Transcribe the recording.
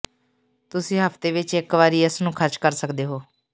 ਤੁਸੀਂ ਹਫ਼ਤੇ ਵਿੱਚ ਇੱਕ ਵਾਰੀ ਇਸ ਨੂੰ ਖਰਚ ਕਰ ਸਕਦੇ ਹੋ